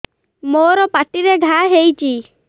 ମୋର ପାଟିରେ ଘା ହେଇଚି